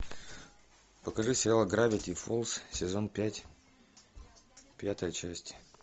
покажи сериал гравити фолз сезон пять пятая часть